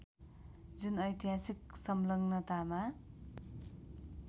जुन ऐतिहासिक सङ्लग्नतामा